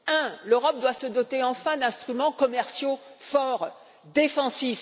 Premièrement, l'Europe doit se doter, enfin, d'instruments commerciaux forts, défensifs.